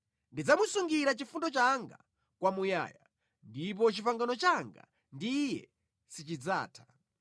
Ndidzamusungira chifundo changa kwamuyaya, ndipo pangano langa ndi iye silidzatha.